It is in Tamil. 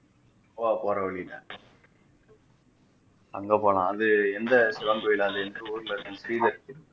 கோவா போற வழியில அங்க போலாம் அது எந்த சிவன் கோயில் அது எந்த ஊர்ல இருக்குன்னு ஸ்ரீதருக்கு தெரியும்